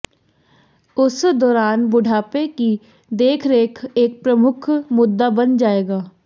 उस दौरान बुढ़ापे की देखरेख एक प्रमुख मुद्दा बन जाएगा